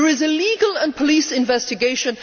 There is a legal and police investigation.